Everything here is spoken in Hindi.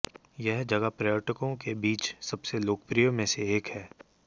यह जगह पर्यटकों के बीच सबसे लोकप्रिय में से एक है